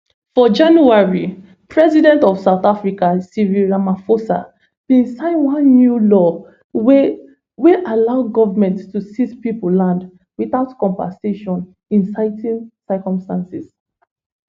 for january president of south africa cyril ramaphosa bin sign one new law wey wey allow goment to seize pipo land witout compensation in certain circumstances